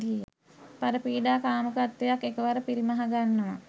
පරපීඩා කාමුකත්වයත් එකවර පිරිමහගන්නවා.